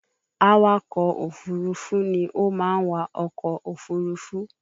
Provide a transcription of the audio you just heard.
Awakọ̀ òfúrufú ni ó máa ń wa ọkọ̀ òfurufú